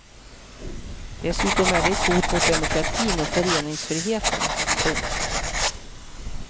Dessutom är det ett hot mot demokratin och föreningsfriheten. punkt